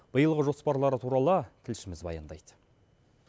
биылғы жоспарлары туралы тілшіміз баяндайды